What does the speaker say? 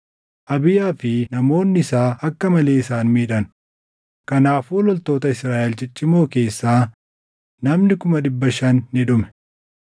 Abiyaa fi namoonni isaa akka malee isaan miidhan; kanaafuu loltoota Israaʼel ciccimoo keessaa namni kuma dhibba shan ni dhume.